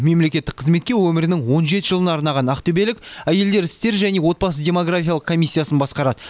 мемлекеттік қызметке өмірінің он жеті жылын арнаған ақтөбелік әйелдер істері және отбасы демографиялық комиссиясын басқарады